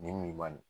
Nin nin man nin